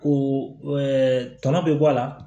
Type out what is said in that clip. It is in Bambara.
O tɔnɔ bɛ bɔ a la